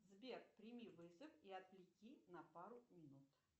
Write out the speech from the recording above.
сбер прими вызов и отвлеки на пару минут